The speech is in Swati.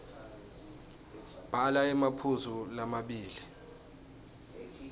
bhala emaphuzu lamabili